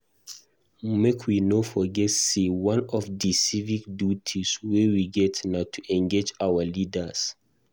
Make wey no forget sey one of di civic duties wey we get na to engage our leaders.